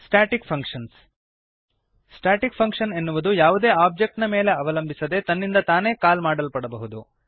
static functions static function ಎನ್ನುವುದು ಯಾವುದೇ object ನ ಮೇಲೆ ಅವಲಂಬಿಸದೆ ತನ್ನಿಂದ ತಾನೇ ಕಾಲ್ ಮಾಡಲ್ಪಡಬಹುದು